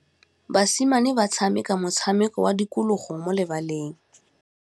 Basimane ba tshameka motshameko wa modikologô mo lebaleng.